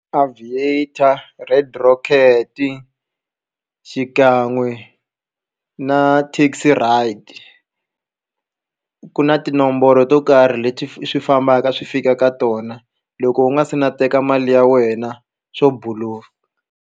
Aviator red rocket xikan'we na taxi ride ku na tinomboro to karhi leti swi fambaka swi fika ka tona loko u nga se na teka mali ya wena swo buluka.